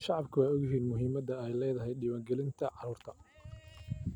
Shacabku way ogyihiin muhiimadda ay leedahay diiwaan gelinta carruurta.